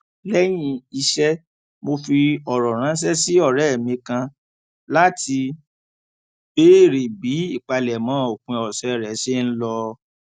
léyìn iṣé mo fi òrò ránṣé sí òré mi kan láti béèrè bí ìpalẹmọ òpin òsè rẹ ṣe n lọ